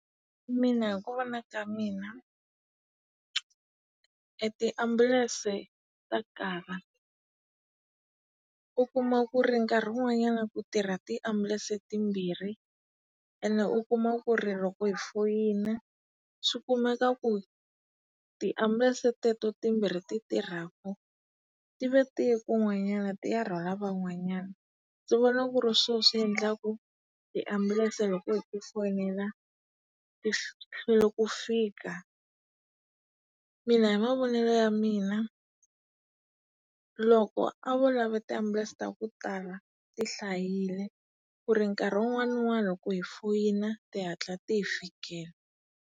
Mina hi ku vona ka mina, e tiambulense ta kala. U kuma ku ri nkarhi wun'wanyana ku tirha tiambulense timbirhi. Ene u kuma ku ri loko hi foyina, swi kumeka ku tiambulense teto timbirhi ti tirhaku, ti va tiye kun'wanyana ti ya rhwala van'wanyana. Ndzi vona ku ri swo swi endlaku tiambulense loko hi ti fonela ti hlwela ku fika. Mina hi mavonele ya mina, loko a vo lava tiambulense ta ku tala, ti hlayile, ku ri nkarhi wun'wana ni wun'wana loko hi foyina ti hatla ti hi fikela.